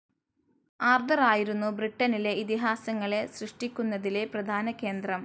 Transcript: ആർതറായിരുന്നു ബ്രിട്ടനിലെ ഇതിഹാസങ്ങളെ സൃഷ്ട്ടിക്കുന്നതിലെ പ്രധാന കേന്ദ്രം.